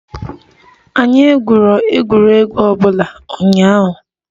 Anyi egwurọ egwuregwu obụla unyahụ